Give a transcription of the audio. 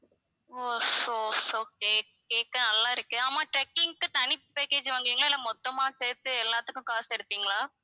ஓ so okay கேட்க நல்லா இருக்கு ஆமாம் trekking க்கு தனி package வாங்குவீங்களா இல்ல மொத்தமா சேர்த்து எல்லாத்துக்கும் காசு எடுப்பீங்களா?